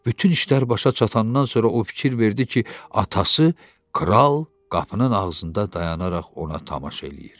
Bütün işlər başa çatandan sonra o fikir verdi ki, atası kral qapının ağzında dayanaraq ona tamaşa eləyir.